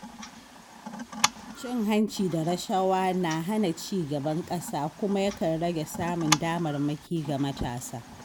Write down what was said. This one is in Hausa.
Cin hanci da rashawa na hana ci gaban ƙasa kuma yakan rage samun damarmaki ga matasa.